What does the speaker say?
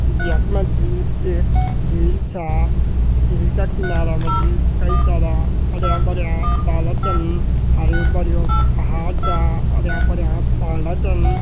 यख मजी एक झील छा झील का किनारा मजी कई सारा हर्यां-भर्यां डाला चन हर्युं- भर्युं पहाड़ चा हर्यां-भर्यां पांडा चन।